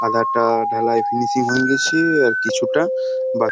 আধাটা ঢালাই ফিনিশিং হয়ে গেছে আর কিছুটা বাক --